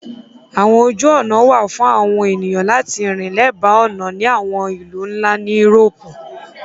Àwọn ojú ọnà wà fún àwọn ènìyàn láti rìn lẹ́bàá ọ̀nà ní àwọn ìlú nlá ni írópù.